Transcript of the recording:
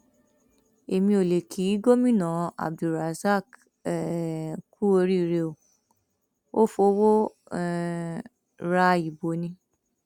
èmi ò lè kí gómìnà abdulrosaq um kú oríire o ò fọwọ um ra ibo ni